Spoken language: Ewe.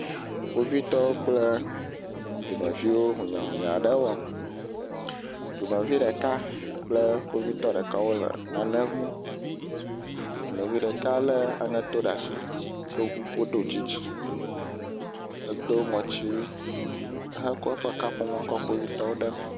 Kpovitɔ kple dumeviwo hũnyahũnya aɖe wɔm. Dumevi ɖeka kple kpovitɔ ɖeka wo le nane ŋlim. Dumevi ɖeka le aŋeto ɖe asi, ɖo kuku, do tsitsi, edo ŋɔtsiwu hekɔ eƒe kaƒomɔ kɔ kpovitɔwo ɖe mee.